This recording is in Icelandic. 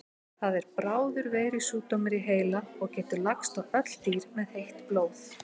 Það er bráður veirusjúkdómur í heila og getur lagst á öll dýr með heitt blóð.